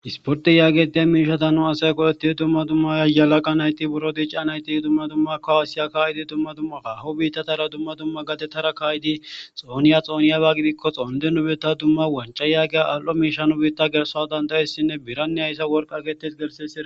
Isporti yaagediya miishata nu asay ko'etti tumma dumma yayalaqa nayti buro diica nayti tumma dumma koasiya kaayidi tumma dumma ka ahu biittatara tumma dumma gatetara kayidi xooniya xooniyaba gidikko xoonde nubetta dumma wanca yaageya aal7o miisha nu biitta gerso dandayessinne biranne hayssa worqa getes gersisida.